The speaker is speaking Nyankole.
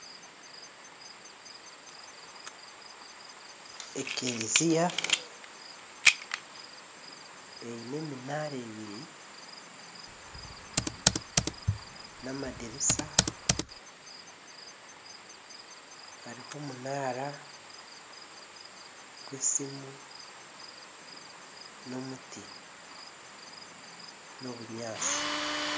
Ekeereziya eine eminaara ebiri n'amadirisa hariho omunaara gw'esimu n'omuti n'obunyaatsi